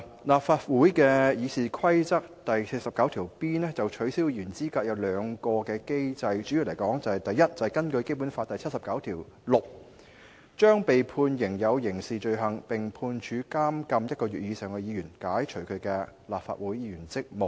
立法會《議事規則》第 49B 條就取消議員的資格訂明兩個機制，首先是第 49B1 條所訂，根據《基本法》第七十九條第六項，對被判犯有刑事罪行，並被判處監禁1個月以上的議員，解除其立法會議員職務。